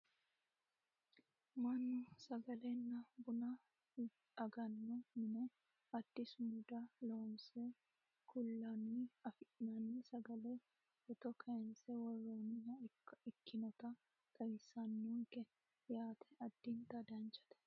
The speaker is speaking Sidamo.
mannu sagalenna buna ganno mine addi sumuda loonse kullanni afi'nanni sagale footto kayiinse worroonniha ikkannota xawissannonke yaate addinta danchate .